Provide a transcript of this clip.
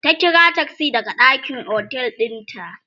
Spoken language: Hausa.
ta ƙira taksi daga ɗakin otel ɗin ta